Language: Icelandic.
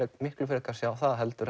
miklu frekar sjá það heldur